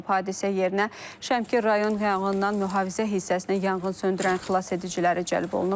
Hadisə yerinə Şəmkir rayon yanğından mühafizə hissəsinə yanğın söndürən xilasediciləri cəlb olunub.